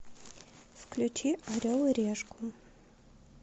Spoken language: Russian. включи орел и решку